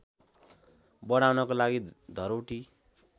बढाउनको लागि धरौटी